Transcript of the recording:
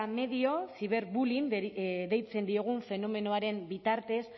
medio ciberbullying deitzen diogun fenomenoaren bitartez